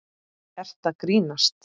Ertu að grínast?